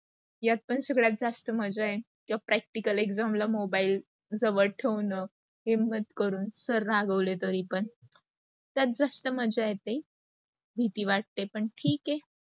यात पण सगळ्यात जास्त मज्जा आहे. जेव्हा practical exam ला मोबाईल जवळ ठेवणं. हिम्मत करून, sir रागावले तरी पण. त्यात जास्त मज्जा येते, भीती वाटते पण ठीक आहे.